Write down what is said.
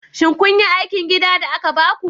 Shin kun yi aikin gida da aka baku?